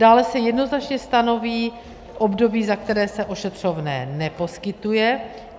Dále se jednoznačně stanoví období, za které se ošetřovné neposkytuje.